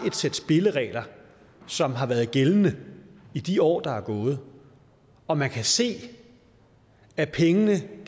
et sæt spilleregler som har været gældende i de år der er gået og man kan se at pengene